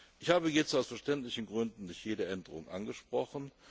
Ich habe jetzt aus verständlichen Gründen nicht jede Änderung angesprochen.